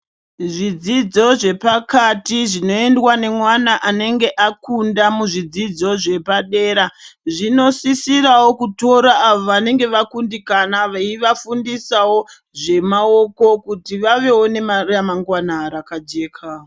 Zvidzidzo zvepakati zvinoendwa nemwana anenge akunda muzvidzidzo zvepadera zvinosisirawo kutora awo vanenge vakundikana veivafundisawo zvemaoko kuti vavewo neremangwana rakajeka.